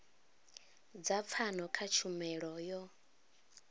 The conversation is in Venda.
dza pfano kha tshumelo yo